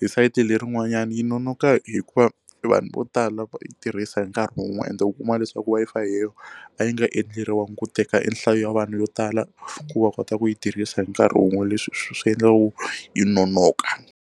hi sayiti lerin'wanyani yi nonoka hikuva vanhu vo tala va tirhisa hi nkarhi wun'we ende u kuma leswaku Wi-Fi yeleyo a yi nga endleriwangi ku teka e nhlayo ya vanhu vo tala ku va kota ku yi tirhisa hi nkarhi wun'we leswi swi endla ku yi nonoka.